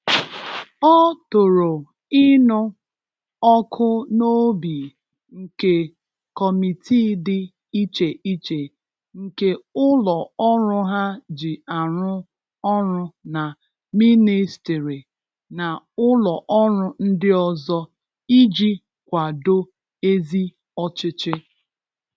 Ọ tòrò ínụ ọkụ n’obi nke kọmitii dị iche iche nke ụlọ ọrụ ha ji arụ ọrụ na ministiri na ụlọ ọrụ ndị ọzọ iji kwàdò ezi ọchịchị.